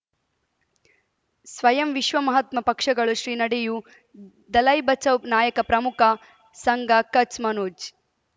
ಸ್ವಯಂ ವಿಶ್ವ ಮಹಾತ್ಮ ಪಕ್ಷಗಳು ಶ್ರೀ ನಡೆಯೂ ದಲೈ ಬಚೌ ನಾಯಕ ಪ್ರಮುಖ ಸಂಘ ಕಚ್ ಮನೋಜ್